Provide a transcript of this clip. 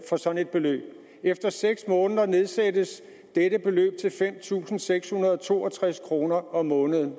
for sådan et beløb efter seks måneder nedsættes dette beløb til fem tusind seks hundrede og to og tres kroner om måneden